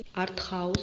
артхаус